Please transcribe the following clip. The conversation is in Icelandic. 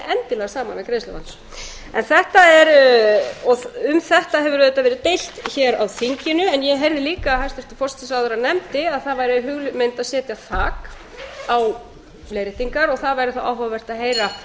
endilega saman við greiðsluvandann um þetta hefur verið deilt á þinginu en ég heyrði líka að hæstvirtur forsætisráðherra nefndi að það væri hugmynd að setja þak á leiðréttingar og þá væri áhugavert að heyra hvort menn